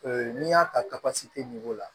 Ee n'i y'a ta la